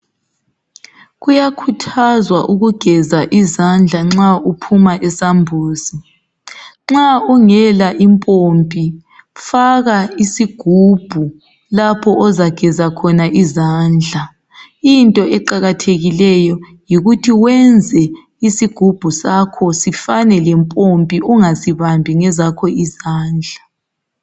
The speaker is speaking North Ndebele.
Kuyakhuthazwa ukugeza izandla nxa uphuma esambuzini, nxa ungela impompi faka isigubhu lapho ozageza khona izandla into eqakathekileyo yikuthi wenze isigubhu sakho sifane lempompi ungasibambi ngezakho izandla.